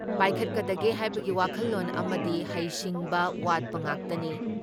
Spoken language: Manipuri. ꯄꯥꯏꯈꯠꯀꯗꯒꯦ ꯍꯥꯏꯕꯒꯤ ꯋꯥꯈꯜꯂꯣꯟ ꯑꯃꯗꯤ ꯍꯩꯁꯤꯡꯕ ꯋꯥꯠꯄ ꯉꯥꯛꯇꯅꯤ ꯫